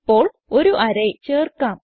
ഇപ്പോൾ ഒരു അറേ ചേർക്കാം